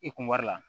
I kun wari la